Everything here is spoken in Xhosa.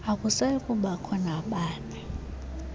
akusayi kubakho nabani